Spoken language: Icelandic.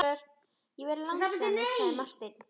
Ég hef verið lánsamur, sagði Marteinn.